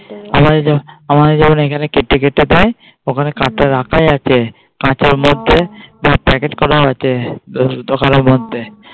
আমাদের যেমন আমাদের যেমন এখানে কেটে কেটে দেয় ওখানে কাঁচা রাখাই আছে, কাঁচের মধ্যে প্যাকেট করা আছে দোকানের মধ্যে।